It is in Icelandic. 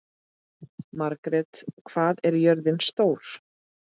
Margret, hvað er jörðin stór?